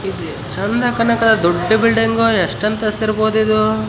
Decoration ನೋಡ್ರಿ ಎಸ್ಟ್ ಚೆಂದ ಐತಿ ಮಂದಿ ನೋಡ್ರಿ ಸ್ವಲ್ಪ ಅದರ ಇಲ್ಲಿ .